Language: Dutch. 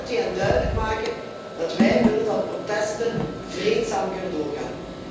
Hoe gaat u hen duidelijk maken dat wij willen dat protesten vreedzaam kunnen doorgaan?